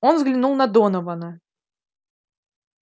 он взглянул на донована